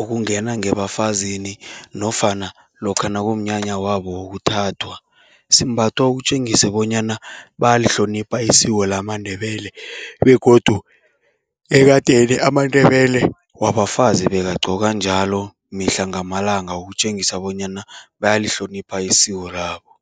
ukungena ngebafazini nofana lokha nakumnyanya wabo wokuthathwa. Simbathwa ukutjengise bonyana bayalihlonipha isiko lamaNdebele begodu ekadeni amaNdebele wabafazi bekagqoka njalo mihla ngamalanga, ukutjengisa bonyana bayalihlonipha isiko labo.